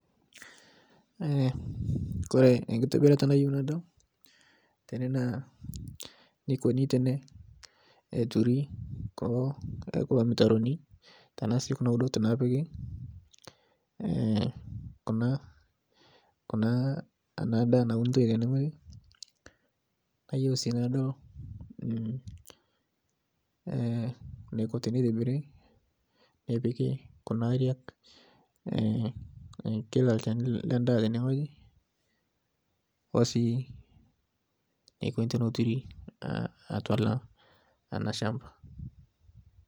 Kore enkitobirata nayeu nadol tene naa neikoni teneturi kulo mitaroni tanasi Kuna udot naapiki kuna ana daa naunutoi tene ng'oji, nayeu si nadol neko teneitibiri nepiki kuna aariak kila lsheni lee ndaa te ng'oji oosi nekoni teneturi atua ana shamba.